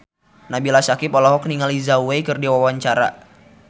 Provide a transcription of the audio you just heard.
Nabila Syakieb olohok ningali Zhao Wei keur diwawancara